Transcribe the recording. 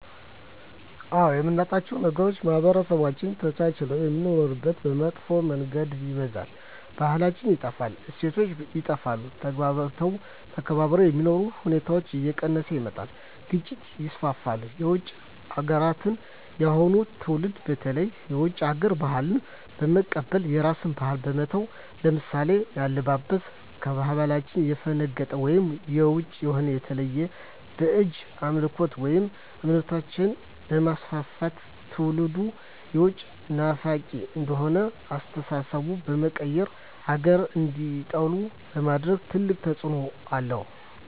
አዎ የምናጣዉ ነገር ማህበረሰቦች ተቻችለዉ የሚኖሩትን በመጥፋ መንገድ ይበርዛል ባህላችን ይጠፋል እሴቶች ይጠፋል ተግባብቶ ተከባብሮ የመኖር ሁኔታዎች እየቀነሰ ይመጣል ግጭቶች ይስፍፍሉ የዉጭ ሀገራትን የአሁኑ ትዉልድ በተለይ የዉጭ ሀገር ባህልን በመቀበል የራስን ባህል በመተዉ ለምሳሌ ከአለባበስጀምሮ ከባህላችን ያፈነቀጠ ወይም ዉጭ የሆነ የተለያዩ ባእጅ አምልኮችን ወይም እምነቶችንበማስፍፍት ትዉልዱም የዉጭ ናፋቂ እንዲሆን አስተሳሰባቸዉ በመቀየር ሀገራቸዉን እንዲጠሉ በማድረግ ትልቅ ተፅዕኖ አለዉ